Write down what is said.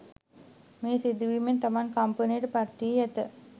මෙම සිදුවීමෙන් තමන් කම්පනයට පත්වී ඇත